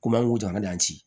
Komi an kun to an ka yan ci